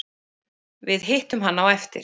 Við hittum hann á eftir